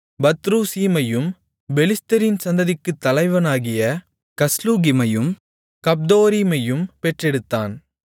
பத்ருசீமையும் பெலிஸ்தரின் சந்ததிக்குத் தலைவனாகிய கஸ்லூகிமையும் கப்தொரீமையும் பெற்றெடுத்தான்